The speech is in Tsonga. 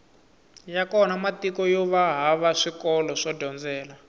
ya kona matiko yova hava swikolo swo dyondzela